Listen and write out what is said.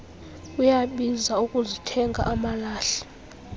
kuyabiza ukuzithenga amalahle